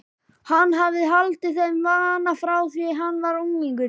Hann hafði haldið þeim vana frá því hann var unglingur.